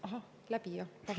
Ahah, läbi, jah?